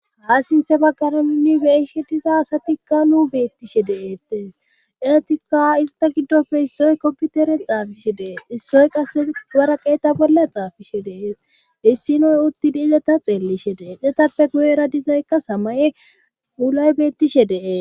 Ha sinthe baggana nunni beishe diza asatikka nu beettishe de7ettes eetikka izata giddofe issoy komputere xaafishe dee issoy qas waraqeeta bolla xaafishe dees issinoy uttidi izata xeellishe deedetappe guyera dizaykka samaye ulay beettishe dee